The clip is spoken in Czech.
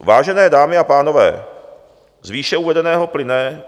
Vážené dámy a pánové, z výše uvedeného plyne...